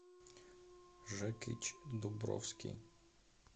жекич дубровский